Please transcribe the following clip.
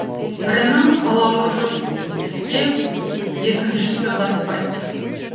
бірінің қалауы жоқ іске екіншісі баспайтын